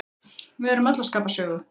Við erum öll að skapa sögu.